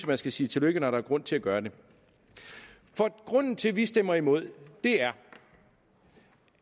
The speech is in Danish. man skal sige tillykke når der er grund til at gøre det grunden til at vi stemmer imod er